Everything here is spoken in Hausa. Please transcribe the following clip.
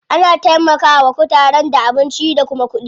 Ana taimaka wa kutaren da abinci da kuma kuɗi.